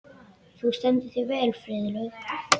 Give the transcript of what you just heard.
Þú stendur þig vel, Friðlaug!